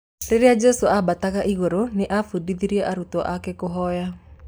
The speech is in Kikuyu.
Rĩrĩa Jesu ambataga igũrũ nĩ ambudithirie arutwo ake kũhoya